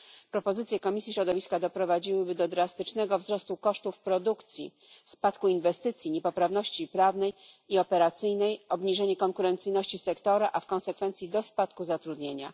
Propozycje Komisji Ochrony Środowiska doprowadziłyby do drastycznego wzrostu kosztów produkcji, spadku inwestycji, niepoprawności prawnej i operacyjnej, obniżenia konkurencyjności sektora, a w konsekwencji do spadku zatrudnienia.